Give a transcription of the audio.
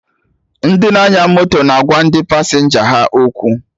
Ndị na-anya moto na agwa ndị pasenja ha okwu